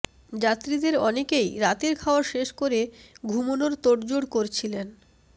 যাত্রীদের অনেকেই রাতের খাওয়া শেষ করে ঘুমোনোর তোড়জোড় করছিলেন